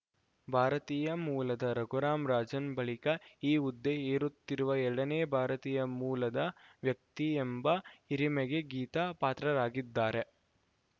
ಭಾರತೀಯ ಮೂಲದ ರಘುರಾಂ ರಾಜನ್‌ ಬಳಿಕ ಈ ಹುದ್ದೆ ಏರುತ್ತಿರುವ ಎರಡನೇ ಭಾರತೀಯ ಮೂಲದ ವ್ಯಕ್ತಿ ಎಂಬ ಹಿರಿಮೆಗೆ ಗೀತಾ ಪಾತ್ರರಾಗಿದ್ದಾರೆ